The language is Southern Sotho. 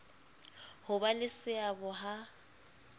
ho ba le seabo ha